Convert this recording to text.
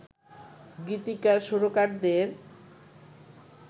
গীতিকার সুরকারদের